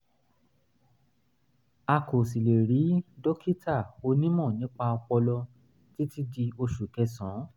a kò sì lè rí dókítà onímọ̀ nípa ọpọlọ títí di oṣù kẹsàn-án